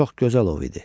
Çox gözəl ov idi.